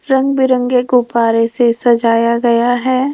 रंग बिरंगे गुब्बारे से सजाया गया है।